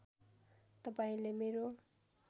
तपाईँले मेरो